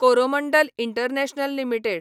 Coromandel international limited